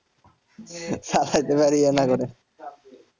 চালাইতে পারবো কেমন করে